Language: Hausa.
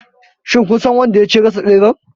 Shin kun san wanda ya ci / ya rasa tseren?